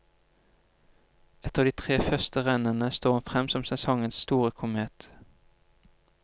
Etter de tre første rennene står hun frem som sesongens store komet.